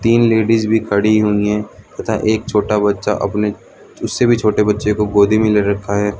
तीन लेडीज भी खड़ी हुई है तथा एक छोटा बच्चा अपने उस से भी छोटे बच्चें को गोदी में ले रखा है।